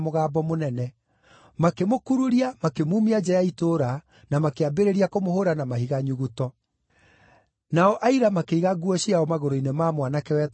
makĩmũkururia, makĩmumia nja ya itũũra, na makĩambĩrĩria kũmũhũũra na mahiga nyuguto. Nao, aira makĩiga nguo ciao magũrũ-inĩ ma mwanake wetagwo Saũlũ.